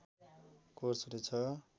course हुने छ